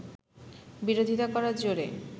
বিরোধিতা করার জেরে